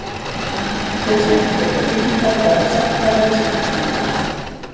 Þeir sem ekki kaupa tryggingar verða sektaðir við skattframtal.